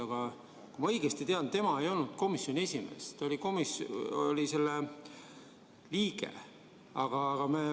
Aga kui ma õigesti tean, tema ei olnud komisjoni esimees, ta oli selle liige.